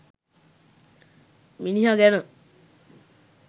මිනිහ ගැන..